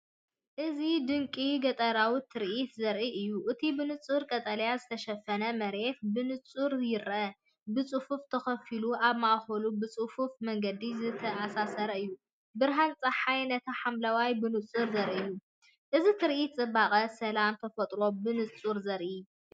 እዚ ድንቂ ገጠራዊ ትርኢት ዘርኢ እዩ። እቲ ብንጹር ቀጠልያ ዝተሸፈነ መሬት ብንጹር ይርአ፣ ብጽፉፍ ተኸፋፊሉ፣ ኣብ ማእከሉ ብጽፉፍ መንገዲ ዝተኣሳሰር እዩ። ብርሃን ጸሓይ ነቲ ሓምላይ ብንጹር ዘርኢ እዩ፣ እዚ ትርኢት ጽባቐን ሰላምን ተፈጥሮ ብንጹር ዘርኢ እዩ።